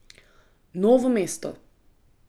Novo mesto.